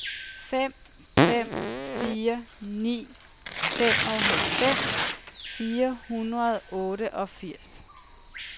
fem fem fire ni femoghalvfems fire hundrede og otteogfirs